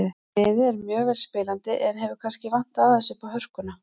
Liðið er mjög vel spilandi en hefur kannski vantað aðeins uppá hörkuna.